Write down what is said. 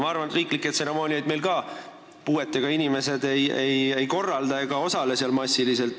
Ma arvan, et riiklikke tseremooniaid meil puuetega inimesed ei korralda ega osale seal massiliselt.